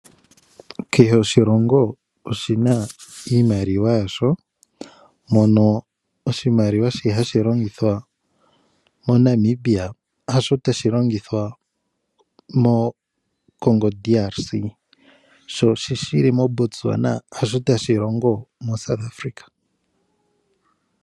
Kehe oshilongo oshina iimaliwa yasho. Mono oshimaliwa shono hashi longithwa mo Namibia hasho tashilongithwa mo Congo DRC . Sho shili mo Botswana hasho tashi longithwa mo South Africa.